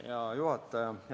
Hea juhataja!